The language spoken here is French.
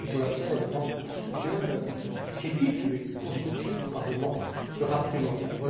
Voilà pourquoi je pense que le soutien critique et néanmoins constructif du Parlement sera primordial.